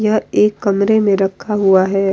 यह एक कमरे में रखा हुआ है।